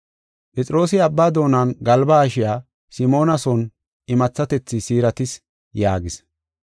Phexroosi abba doonan galba haashiya Simoona son imathatethi siiratis” yaagis.